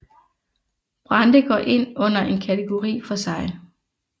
Brande går ind under en kategori for sig